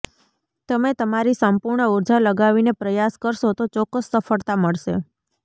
તમે તમારી સંપૂર્ણ ઊર્જા લગાવીને પ્રયાસ કરશો તો ચોક્કસ સફળતા મળશે